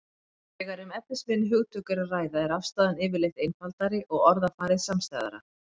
Þegar um efnisminni hugtök er að ræða er afstaðan yfirleitt einfaldari og orðafarið samstæðara.